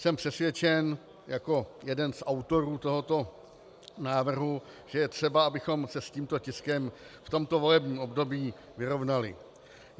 Jsem přesvědčen jako jeden z autorů tohoto návrhu, že je třeba, abychom se s tímto tiskem v tomto volebním období vyrovnali.